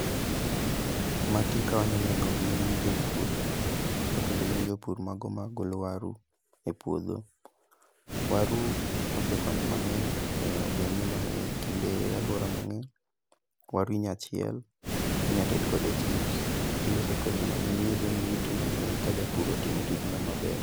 Magi ka wanyaneno gin jopur, to kendo gin jopur mago ma golo waru e puodho. Waru osekonyo mang'eny e ogendni mang' e kind alwora mang'eny, waru inya chiel, inya ted kode chips. Kendo osekonyo mang'eny iyudo ka japur otimo tijno maber.